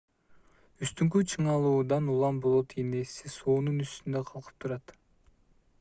үстүңкү чыңалуудан улам болот ийнеси суунун үстүндө калкып турат